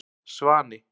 Svani